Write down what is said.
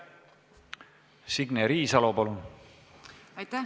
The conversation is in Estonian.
Signe Riisalo, palun!